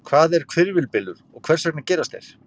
Hvað er hvirfilbylur og hvers vegna gerast þeir?